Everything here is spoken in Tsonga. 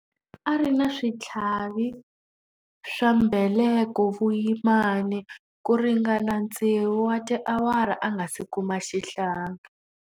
A ri na switlhavi swa mbeleko vuyimani ku ringana tsevu wa tiawara a nga si kuma xihlangi.